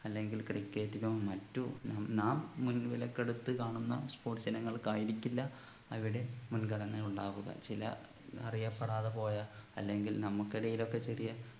അല്ലെങ്കിൽ cricket നോ മറ്റോ നാം മുൻ വിലക്കെടുത്ത് കാണുന്ന sports ഇനങ്ങൾക്ക് ആയിരിക്കില്ല അവിടെ മുൻഗണന ഉണ്ടാവുക ചില അറിയപ്പെടാതെ പോയ അല്ലെങ്കിൽ നമുക്കിടയിലൊക്കെ ചെറിയ